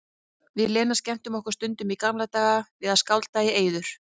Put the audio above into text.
Við Lena skemmtum okkur stundum í gamla daga við að skálda í eyður.